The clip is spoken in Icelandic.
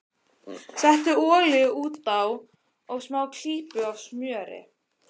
Settu olíu út á og smá klípu af smjöri.